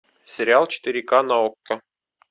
сериал четыре ка на окко